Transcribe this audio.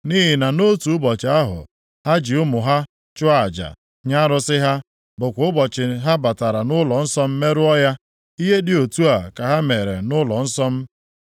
Nʼihi na nʼotu ụbọchị ahụ ha ji ụmụ ha chụọ aja nye arụsị ha, bụkwa ụbọchị ha batara nʼụlọnsọ m merụọ ya. Ihe dị otu a ka ha mere nʼụlọnsọ m.